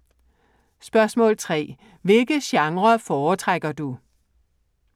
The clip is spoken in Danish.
3) Hvilke genrer foretrækker du?